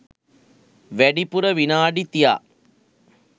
වැඩිපුර විනාඩි තියා